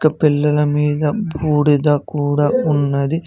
పెల్లల మీద బూడిద కూడా ఉన్నది.